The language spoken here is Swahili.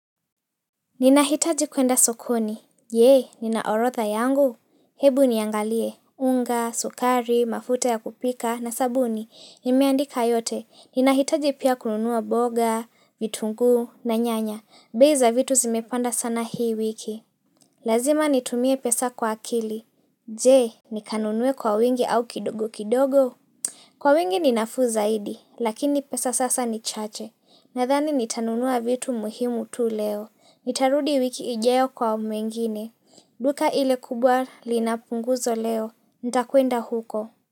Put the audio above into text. Ninahitaji kuenda sokoni. Jee, ninaorotha yangu. Hebu niangalie. Unga, sukari, mafuta ya kupika na sabuni. Nimeandika yote. Ninahitaji pia kununuwa boga, vitungu na nyanya. Bei za vitu zimepanda sana hii wiki. Lazima nitumie pesa kwa akili. Jee, nikanunuwe kwa wingi au kidogo kidogo? Kwa wingi ninafuu zaidi, lakini pesa sasa ni chache, nadhani nitanunua vitu muhimu tu leo, nitarudi wiki ijeo kwa mengine, duka ile kubwa linapunguzo leo, ntakuenda huko.